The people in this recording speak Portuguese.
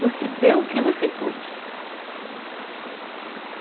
Você deu o que você pôde.